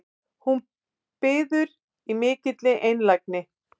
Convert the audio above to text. Hún biður í mikilli einlægni